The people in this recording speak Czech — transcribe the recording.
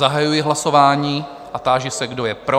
Zahajuji hlasování a táži se, kdo je pro?